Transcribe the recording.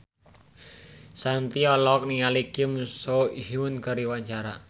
Shanti olohok ningali Kim So Hyun keur diwawancara